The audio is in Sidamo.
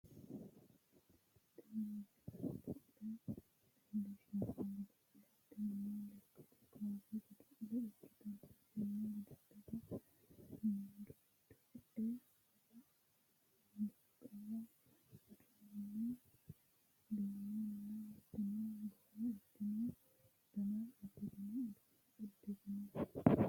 tini misile godo'le leellishshanno godo'le tinino lekkate kaase godo'le ikkitanna tenne godo'lera meedu giddo e"e baqqala duumonna hattono barro ikkino dana firino uduunne uddirrinori no